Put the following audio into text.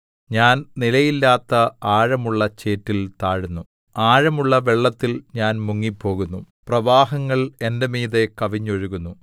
ഞാൻ നിലയില്ലാത്ത ആഴമുള്ള ചേറ്റിൽ താഴുന്നു ആഴമുള്ള വെള്ളത്തിൽ ഞാൻ മുങ്ങിപ്പോകുന്നു പ്രവാഹങ്ങൾ എന്റെ മീതെ കവിഞ്ഞൊഴുകുന്നു